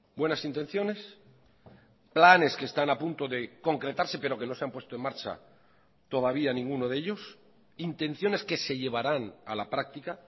buenas intenciones planes que están a punto de concretarse pero que no se han puesto en marcha todavía ninguno de ellos intenciones que se llevarán a la práctica